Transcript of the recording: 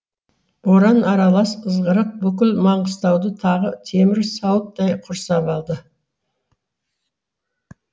боран аралас ызғырық бүкіл маңғыстауды тағы темір сауыттай құрсап алды